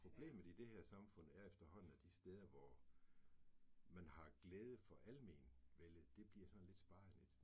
Problemet i det her samfund er efterhånden at de steder, hvor man har glæde for almenvellet det bliver sådan lidt sparet lidt